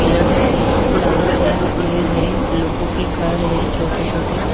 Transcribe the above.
pillars है चारों तरफ पैर है लोगों के घर है छोटे-छोटे--